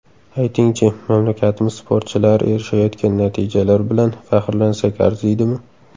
Ayting-chi, mamlakatimiz sportchilari erishayotgan natijalar bilan faxrlansak arziydimi?